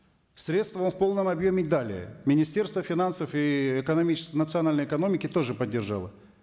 средства вам в полном объеме дали министерство финансов и национальной экономики тоже поддержало